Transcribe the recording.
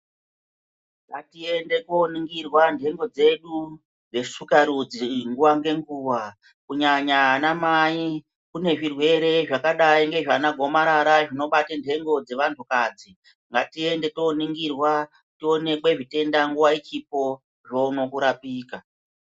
Ngatiende koningirwa nhengo dzedu dzeshuka rudzi nguwa ngenguwa kunyanya ana mai, kune zvirwere zvakadai ngezvana gomarara zvinobate nhengo dzewanhu kadzi, ngatiende koningirwa tionekwe zvitenda nguwa ichipo zvoona kurapika.